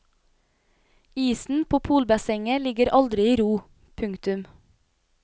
Isen på polbassenget ligger aldri i ro. punktum